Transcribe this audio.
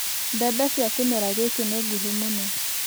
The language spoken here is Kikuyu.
Mbembe cia kĩmera gĩkĩ nĩ nguhĩ mũno.